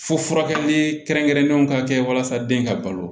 Fo furakɛli kɛrɛnkɛrɛnnenw ka kɛ walasa den ka balo